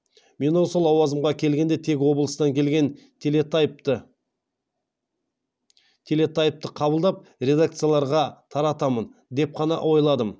мен осы лауазымға келгенде тек облыстан келген телетайпты қабылдап редакцияларға таратамын деп қана ойладым